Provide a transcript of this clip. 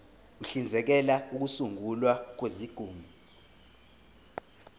uhlinzekela ukusungulwa kwezigungu